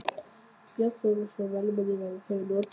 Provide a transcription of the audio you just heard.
Björn Þorláksson: Vélmenni, verða þau notuð?